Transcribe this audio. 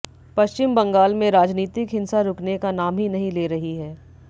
पश्चिम बंगाल में राजनीतिक हिंसा रुकने का नाम ही नहीं ले रही है